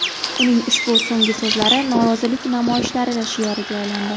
Uning ushbu so‘nggi so‘zlari norozilik namoyishlari shioriga aylandi.